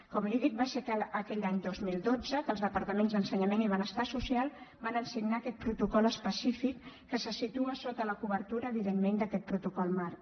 com li dic va ser aquell any dos mil dotze que els departaments d’ensenyament i benestar social varen signar aquest protocol específic que se situa sota la cobertura evidentment d’aquest protocol marc